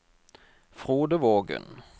Frode Vågen